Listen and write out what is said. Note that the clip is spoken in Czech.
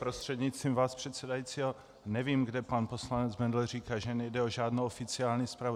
Prostřednictvím vás předsedajícího, nevím, kde pan poslanec Bendl říká, že nejde o žádnou oficiální zprávu.